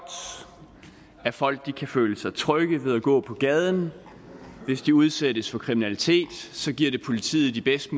at folk kan føle sig trygge ved at gå på gaden og hvis de udsættes for kriminalitet giver det politiet de bedste